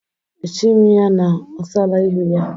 Echighi m na-ọsala ihu ya.